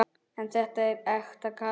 En þetta er ekta Katrín.